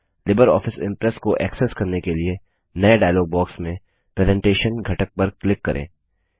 Libre Office Impress को access करने के लिए नए डायलॉग बॉक्स में प्रेजेंटेशन घटक पर क्लिक करें